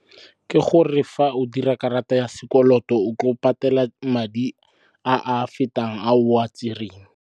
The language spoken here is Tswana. Ke gore fa o dira karata ya sekoloto o tlo patela madi a a fetang a o a tsereng.